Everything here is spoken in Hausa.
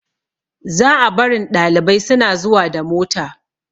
Za a barin ɗalibai suna zuwa da mota